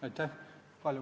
Aitäh!